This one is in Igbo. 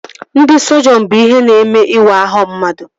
Ndị sọjiọn bụ ihe na-eme ịwa ahụ mmadụ